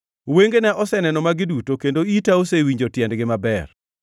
“Wengena oseneno magi duto, kendo ita osewinjo tiendgi maber.